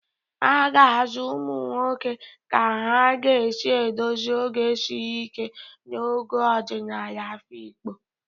A ga-azụ ụmụ nwoke ka ha ga-esi edozi oge siri ike na ogo ọdịnala afikpo